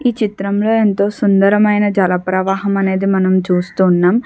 ఈ చిత్రం లో ఎంతో సుందరమైన జల ప్రవాహం అనేది మనం చూస్తున్నాం.